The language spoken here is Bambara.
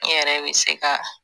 N yɛrɛ be se ka